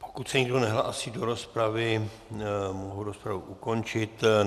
Pokud se nikdo nehlásí do rozpravy, mohu rozpravu ukončit.